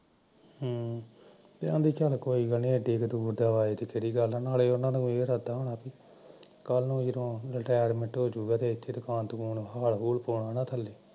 ਹਮ ਚਲ ਐਨੀ ਦੂਰ ਨਾਲੇ ਉਹਨਾਂ ਨੂੰ ਹਾਰ ਹੂਰ ਪਵਾਉਣਾ ਐ